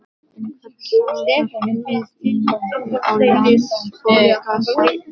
einhvers staðar djúpt í möppu á Landsbókasafninu.